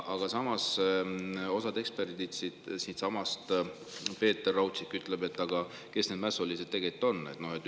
Aga samas ütleb osa eksperte siitsamast, näiteks Peeter Raudsik: kes need mässulised tegelikult on?